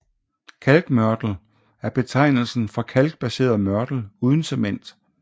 Kalkmørtel er betegnelsen for kalkbaseret mørtel uden cement